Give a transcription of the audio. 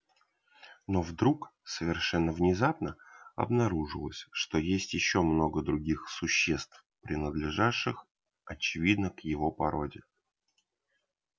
но вдруг совершенно внезапно обнаружилось что есть ещё много других существ принадлежавших очевидно к его породе